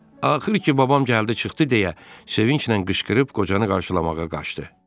Axır ki, babam gəldi çıxdı deyə sevinclə qışqırıb qocanı qarşılamağa qaçdı.